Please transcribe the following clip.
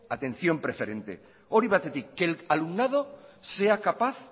atención preferente hori batetik que el alumnado sea capaz